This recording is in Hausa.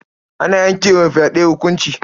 Ana yanke wa mai fyaɗe hukunci.